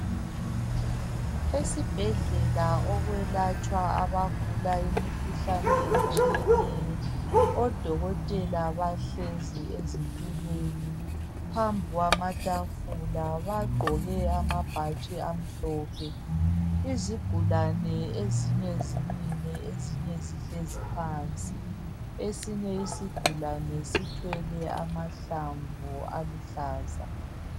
esibhedlela ukwelatshwa abagula imikhuhlane etshiyeneyo odokotela bahlezi ezitulweni phambi kwamatafula bagqoke amabhatshi amhlophe izigulani zimile ezinye zihlezi phansi esinye isigulani sithwele amahlamvu aluhlaza